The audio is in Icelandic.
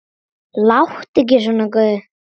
Láttu ekki svona góði.